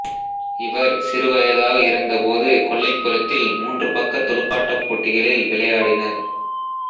இவர் சிறுவயதாக இருந்தபோது கொல்லைப்புறத்தில் மூன்று பக்க துடுப்பாட்டப் போட்டிகளில் விளையாடினர்